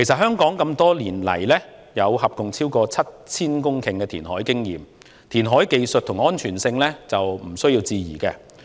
香港多年來合共有超過 7,000 公頃的填海經驗，填海技術和安全性毋庸置疑。